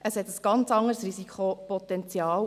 Hier besteht ein ganz anderes Risikopotenzial.